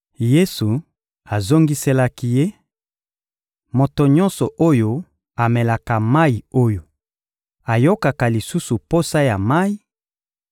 Yesu azongiselaki ye: — Moto nyonso oyo amelaka mayi oyo, ayokaka lisusu posa ya mayi;